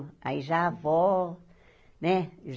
Aí já a avó, né?